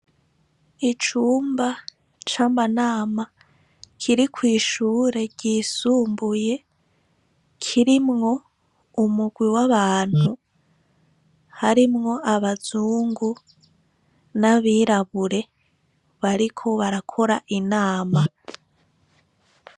Icumba c'amanama kiri ku ishure yisumbuye kirimwo umurwi w'abantu harimwo abazungu n'abirabure bariko barakora inama.